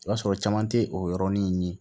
I b'a sɔrɔ caman te o yɔrɔnin ye